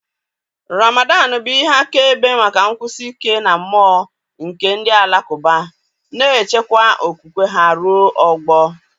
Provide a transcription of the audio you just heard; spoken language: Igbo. ramadan bụ ihe akaebe maka nkwụsi ike na mmụọ nke ndị Alakụba, na-echekwa okwukwe ha ruo ọgbọ.